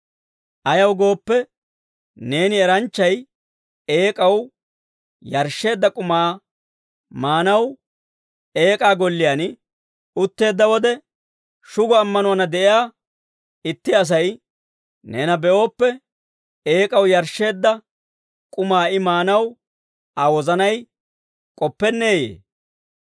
Ayaw gooppe, neeni eranchchay eek'aw yarshsheedda k'umaa maanaw eek'aa golliyaan utteedda wode, shugo ammanuwaanna de'iyaa itti Asay neena be'ooppe, eek'aw yarshsheedda k'umaa I maanaw Aa wozanay k'oppenneeyee?